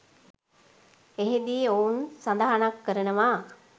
එහිදී ඔවුන් සඳහනක් කරනවා